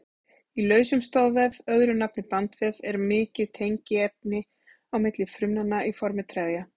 Í lausum stoðvef, öðru nafni bandvef, er mikið tengiefni á milli frumnanna í formi trefja.